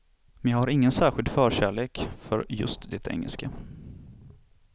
Men jag har ingen särskild förkärlek för just det engelska.